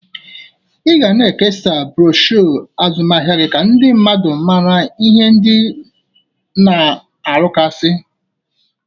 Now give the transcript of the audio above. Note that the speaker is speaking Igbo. Ị ga na-ekesasi broshu azụmaahịa gị ka ndị mmadụ mara ihe ndị ị na-arụgasị.